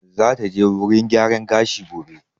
Za ta je wurin gyaran gashi gobe